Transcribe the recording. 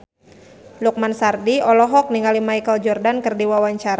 Lukman Sardi olohok ningali Michael Jordan keur diwawancara